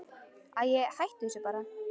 Æi, hættu þessu bara.